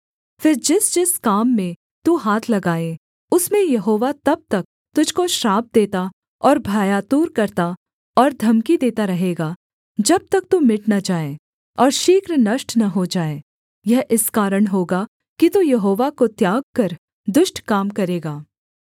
फिर जिसजिस काम में तू हाथ लगाए उसमें यहोवा तब तक तुझको श्राप देता और भयातुर करता और धमकी देता रहेगा जब तक तू मिट न जाए और शीघ्र नष्ट न हो जाए यह इस कारण होगा कि तू यहोवा को त्याग कर दुष्ट काम करेगा